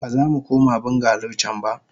Bazamu koma bungalow can ba.